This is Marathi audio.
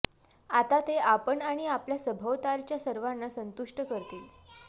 आता ते आपण आणि आपल्या सभोवतालच्या सर्वांना संतुष्ट करतील